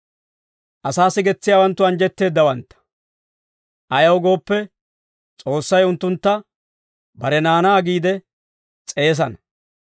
Asaa sigetsiyaawanttu anjjetteeddawantta; ayaw gooppe, S'oossay unttuntta, bare naanaa giide s'eesana.